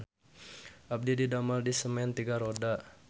Abdi didamel di Semen Tiga Roda